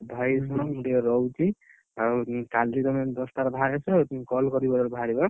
ଭାଇ ଶୁଣ ମୁଁ ଟିକେ ରହୁଛି ଆଉ କାଲି ତମେ ଦଶ ଟାରେ ଭାରି ଆସିବ call କରିବ ଯେତେବେଳେ ଭାରିବ ଆଁ।